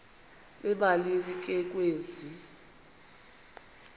emalini ke kwezi